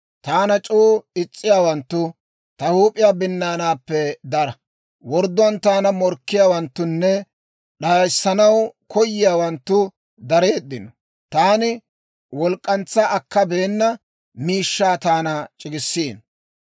Taana c'oo is's'iyaawanttu, ta huup'iyaa binnaanaappe dara. Wordduwaan taana morkkiyaawanttunne, d'ayissanaw koyiyaawanttu dareeddino. Taani wolk'k'antsa akkabeena miishshaa taana c'iggisiino.